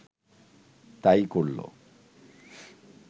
তা-ই করল